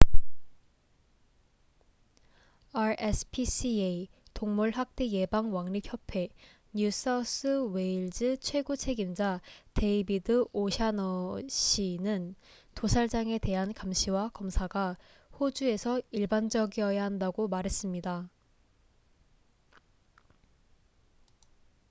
rspca동물 학대 예방 왕립협회 뉴 사우스 웨일즈 최고 책임자 데이비드 오샤너시david o'shannessy는 도살장에 대한 감시와 검사가 호주에서 일반적이야 한다고 말했습니다